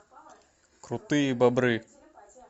крутые бобры